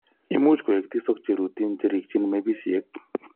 Imuch koik tisok cheurotin cherikyin mepisiek.